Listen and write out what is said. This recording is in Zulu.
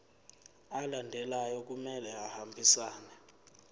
alandelayo kumele ahambisane